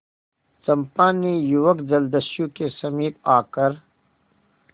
चंपा ने युवक जलदस्यु के समीप आकर